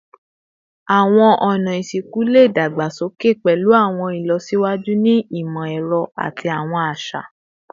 Awọn ọna isinku le dagbasoke pẹlu awọn ilọsiwaju ni imọ-ẹrọ ati awọn aṣa